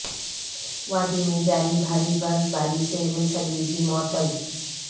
وادی میں جاری بھاری برف باری سے ریل سروس بھی معطل